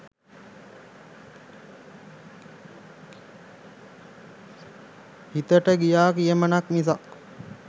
හිතට ගිය "කියමනක්" මිසක්